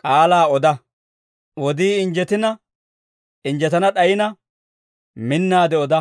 K'aalaa oda. Wodii injjetina injjetana d'ayina, minnaade oda.